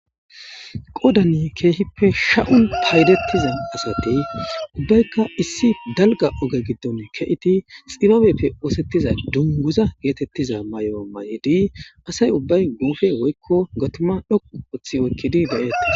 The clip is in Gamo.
Qozani keehippe sha7i paydeththiza asathi beykka issi dalgga oge giddoni kee7idi tsibabeppe ooseththiza dugguuza geetheththiza mayuwa mayidi asay ubbay guufe woykko gathima dhoqqu ooththi oykki de7eththes.